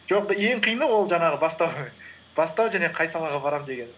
жоқ ең қиыны ол жаңағы бастау бастау және қай салаға барамын деген